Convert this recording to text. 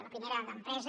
la primera d’empresa